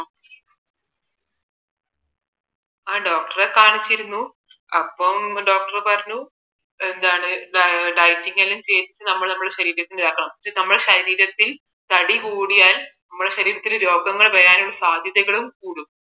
ആ doctor കാണിച്ചിരുന്നു അപ്പം doctor പറഞ്ഞു എന്താണ് dieting എല്ലാം ചെയ്തിട്ട് നമ്മള് നമ്മുടെ ശരീരത്തെ ഇളക്കണം നമ്മുടെ ശരീരത്തിൽ തടി കൂടിയാൽ നമ്മുടെ ശരീരത്തിൽ രോഗങ്ങൾ വരാനുള്ള സാധ്യതകളും കൂടും